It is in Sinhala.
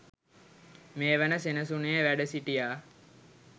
මේ වන සෙනසුනේ වැඩ සිටියා.